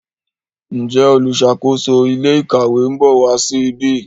Njé oluṣakoso ilé ìkàwé nbọ wá sí ìbi?